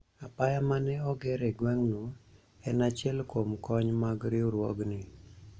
apaya mane oger e gweng' no en achiel kuom kony mag riwruogni